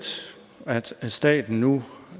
at staten nu